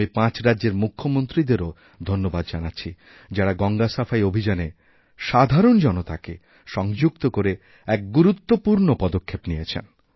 আমিপাঁচ রাজ্যের মুখ্যমন্ত্রীদেরও ধন্যবাদ জানাচ্ছি যাঁরা গঙ্গা সাফাই অভিযানে সাধারণজনতাকে সংযুক্ত করে এক গুরুত্বপূর্ণ পদক্ষেপ নিয়েছেন